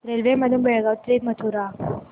railway मधून बेळगाव ते मथुरा